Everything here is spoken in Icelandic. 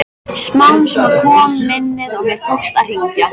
Smám saman kom minnið og mér tókst að hringja.